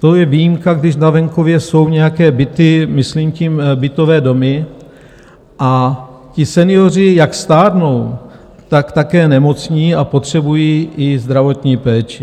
To je výjimka, když na venkově jsou nějaké byty, myslím tím bytové domy, a ti senioři, jak stárnou, tak také nemocní a potřebují i zdravotní péči.